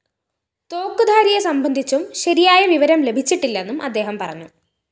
തോക്കുധാരിയെ സംബന്ധിച്ചും ശരിയായ വിവരം ലഭിച്ചിട്ടില്ലെന്നും അദ്ദേഹം പറഞ്ഞു